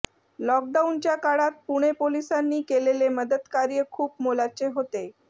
लॉकडाऊनच्या काळात पुणे पोलिसांनी केलेले मदतकार्य खूप मोलाचे होते